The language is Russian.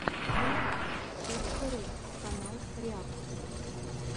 реакт точка ру канал реакций